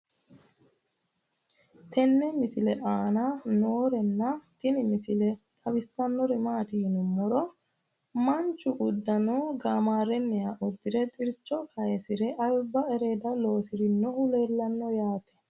tenne misile aana noorina tini misile xawissannori maati yinummoro manchu uduunne gaammareenniha udirre xiricho kayiissire alibba ereedda lossirinnohu leelanno yaatte